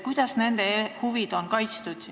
Kuidas on nende huvid kaitstud?